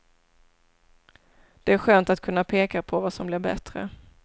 Det är skönt att kunna peka på vad som blir bättre.